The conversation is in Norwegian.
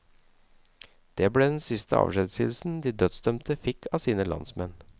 Det ble den siste avskjedshilsen de dødsdømte fikk av sine landsmenn.